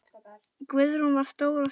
Guðrún var stór og sterk.